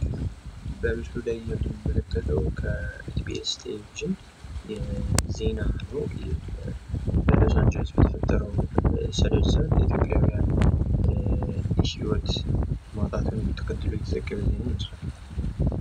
በምስሉ ላይ የምንመለከተው ከኢቢኤስ ቴሌቪዥን የተወሰደ ዜና ነው። በሎሳን ጀለስ በተፈጠረው ሰደድ እሳት የኢትዮጵያውያን ህይወት ማጣትን ተከትሎ የተዘገበ ዜና ይመስላል።